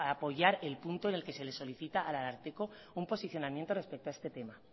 apoyar el punto en el que se les solicita al ararteko un posicionamiento respeto a este tema